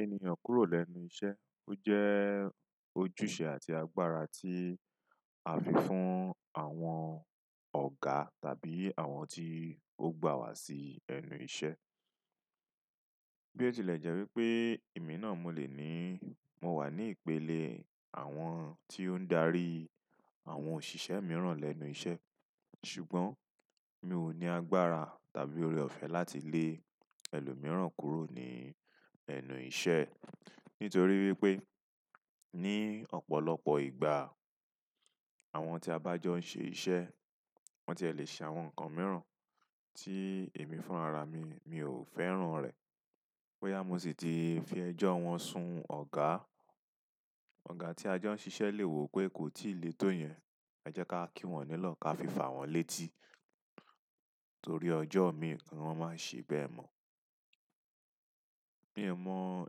Ènìyàn kúrò lẹ́nu iṣẹ́, ó jẹ́ ojúṣe àti agbára tí a fi fún àwọn ọ̀gá tàbí àwọn tí ó gbà wá sí ẹnu iṣẹ́. Bí ó tilẹ̀ jẹ́ wípé èmi náà mo lè ní, mo wà ní ìpele àwọn tí ó ń dàri àwọn òṣìṣẹ́ mìíràn lẹ́nu iṣẹ́, ṣùgbọ́n mi ò ní agbára tàbí oore-ọ̀fẹ́ láti lé ẹlòmíràn kúrò ní ẹnu iṣẹ́ e. Nítorí wípé ní ọ̀pọ̀lọpọ̀ ìgbà, àwọn tí a bá jọ ń ṣe iṣẹ́, wọ́n ti e lè ṣe àwọn nǹkan mìíràn tí èmi fún ara mi, mi ò fẹ́ràn rẹ̀. Ó yá, mo sì ti fi ẹjo wọn sun ọ̀gá. Ọ̀gá tí a jọ ń ṣesi lè wò pé kó tí ì lé tó yẹn, ẹ jẹ́ ká kí wọ́n nílọ̀ ká fi fà wọ́n létí. Torí ọjọ́ mi ki wọn máa ṣe bẹ́ẹ̀ mọ̀. Mi ò mo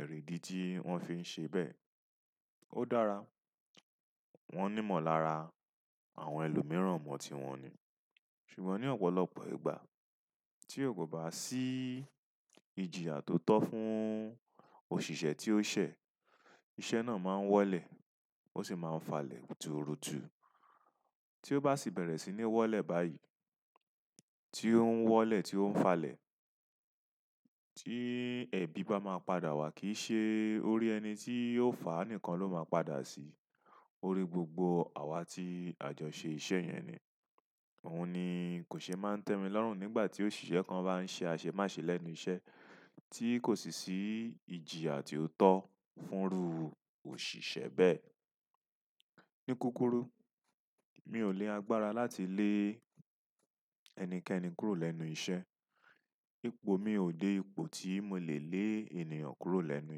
ìrìdí tí wọ́n fi ń ṣe bẹ́ẹ̀. O dára won ni mo lára àwọn ẹlòmíràn mon ti won ni ṣùgbọ́n ní ọ̀pọ̀lọpọ̀ ìgbà tí ó kò bá sí ìjìyà tó tọ́ fún òṣìṣẹ́ tí ó ṣẹ̀, iṣẹ́ náà máa ń wọ́lẹ̀ ó sì máa ń falẹ̀ turutu. Tí ó bá sì bẹ̀rẹ̀ sí ní wọ́lẹ̀ báyìí, tí ó ń wọ́lẹ̀, tí ó ń falẹ̀, tí ẹ̀bi bá máa padà wá kì í ṣe orí ẹni tí ó faá nìkan ló máa padà sí, orí gbogbo àwa tí a jọ ṣe iṣẹ̀ yẹn ni. Òun ni kò ṣe é máa ń tẹ́mi lọ́rùn nígbà tí òṣìṣẹ́ kan bá ń ṣe àṣẹ máṣe lẹ́nu iṣẹ́ tí kò sì sí ìjìyà tí ó tọ́ fúnrú òṣìṣẹ́ bẹ́ẹ̀. Ní kúkurù, mi ò ní agbára láti lé ẹnikẹ́ni kúrò lẹ́nu iṣẹ́. Ipò mi ò dé ipò tí mo lè lé ènìyàn kúrò lẹ́nu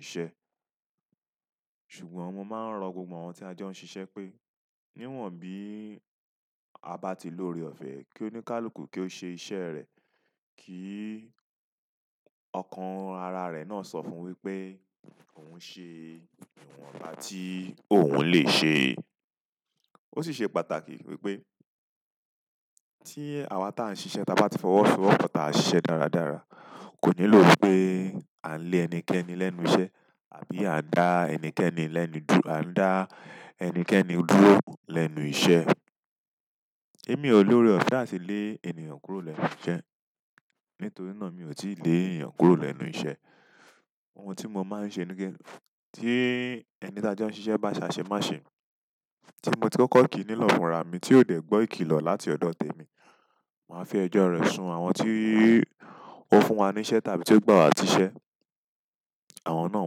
iṣẹ́. Ṣùgbọ́n mo máa ń rọ gbogbo àwọn tí a jọ ń ṣiṣẹ́ pé, níwọ̀n bí a bá ti lórí ọ̀fẹ́ kí wọ́n ní káàlù kí ó ṣe iṣẹ́ rẹ̀ kí ọkàn ara rẹ̀ náà sọ fún un wípé òun ṣe ìwọ̀nba tí òun lè ṣe. Ó sì ṣe pàtàkì wípé tí àwa tí à ń ṣiṣẹ́, tí a bá ti fọwọ́ sọ wọ́pọ̀ táà ṣiṣẹ́ dáradára, kò nílò wípé à ń lé ẹnikẹ́ni lẹ́nu iṣẹ́ àbí à ń dá ẹnikẹ́ni lẹ́nu dú-- à ń dá ẹnikẹ́ni dúró lẹ́nu iṣẹ́. Bẹ́ẹ̀ni emi o lore ọ̀fẹ́ àti le ènìyàn kúrò lẹ́nu iṣẹ́. Nítorí náà mi ò tí ì lé ènìyàn kúrò lẹ́nu iṣẹ́. Ohun tí mo máa ń ṣe ní pẹ́-- tí ẹni tí a jọ ń ṣiṣẹ́ bá ṣe àṣẹ máṣe, tí mo ti kọ́kọ́ kì í nílọ̀ fúnra mi tí ó dẹ̀ gbọ́ ìkìlọ̀ láti ọ̀dọ̀ tèmi, màá fi ẹjọ́ rẹ̀ sun àwọn tí ó fún wa ní iṣẹ́ tàbí tí ó gbà wá sí iṣẹ́. Àwọn náà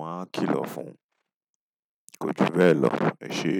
máa ń kìlọ̀ fún. Kò ju bẹ́ẹ̀ lọ èṣe.